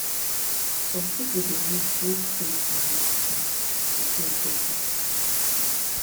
some people dey use both faith and medicine to feel better